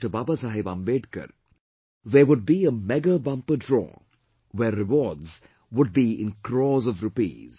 Baba Saheb Ambedkar, there would be a mega bumper draw where rewards would be in crores of rupees